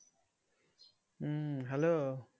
উম hello